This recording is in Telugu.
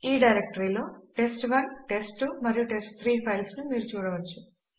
ఈ డైరెక్టరీలో test1టెస్ట్2 మరియు టెస్ట్3 ఫైల్స్ ను మీరు చూడవచ్చు